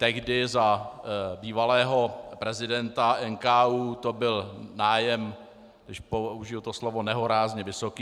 Tehdy, za bývalého prezidenta NKÚ, to byl nájem, když použiji to slovo, nehorázně vysoký.